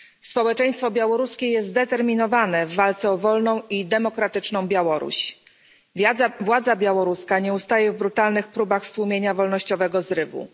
Społeczeństwo białoruskie jest zdeterminowane w walce o wolną i demokratyczną Białoruś, władza białoruska nie ustaje w brutalnych próbach stłumienia wolnościowego zrywu.